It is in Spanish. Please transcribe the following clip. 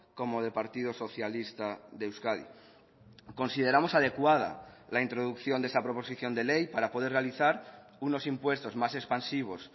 como de partido socialista de euskadi consideramos adecuada la introducción de esa proposición de ley para poder realizar unos impuestos más expansivos